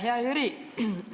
Hea Jüri!